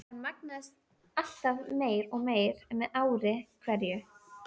Hann magnaðist alltaf meir og meir með ári hverju.